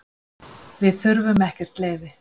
Við þurfum ekkert leyfi.